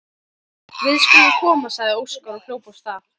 Við skulum koma, sagði Óskar og hljóp af stað.